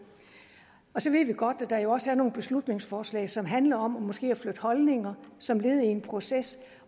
så ved vi godt at der jo også er nogle beslutningsforslag som handler om måske at flytte holdninger som led i en proces